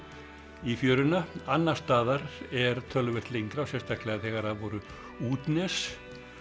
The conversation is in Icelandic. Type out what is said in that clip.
í fjöruna annars staðar er töluvert lengra og sérstaklega þegar það voru útnes